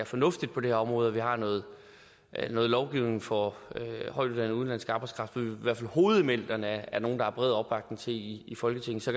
fornuftigt på det her område at vi har noget lovgivning for højtuddannet udenlandsk arbejdskraft hvor i hvert fald hovedelementerne er nogle der er bred opbakning til i folketinget så